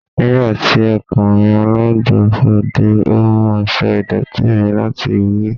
Nigbati okunrin alagbafọ̀ de, o mu aṣọ idọti mi lati wẹ